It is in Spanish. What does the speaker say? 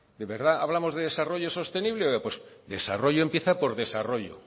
de verdad hablamos de desarrollo sostenible pues desarrollo empieza por desarrollo